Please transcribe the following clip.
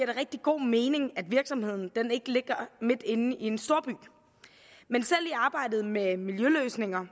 det rigtig god mening at virksomheden ikke ligger midt inde i en storby men selv i arbejdet med miljøløsninger